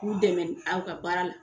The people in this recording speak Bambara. K'u dɛmɛ aw ka baara la